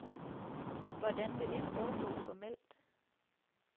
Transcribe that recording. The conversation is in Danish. Hvordan vil det foregå formelt?